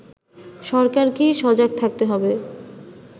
সরকারকেই সজাগ থাকতে হবে